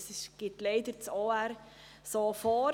Das gibt das Obligationenrecht leider so vor.